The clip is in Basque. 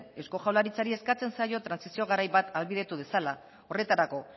eusko jaurlaritzari eskatzen zaio trantsizio garai bat ahalbidetu dezala horretarako